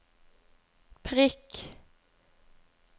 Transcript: prikk